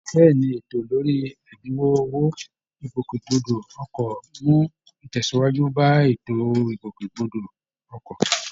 Bẹ́ẹ̀ ni, ètò lórí ẹ̀dínwó owó ìgbòkègbodò ọkọ̀ mú ìtẹ̀síwájú bá ètò ìgbòkègbodò ọkọ̀